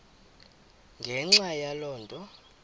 ngenxa yaloo nto